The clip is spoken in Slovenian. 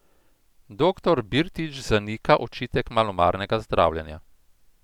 Doktor Birtič zanika očitek malomarnega zdravljenja.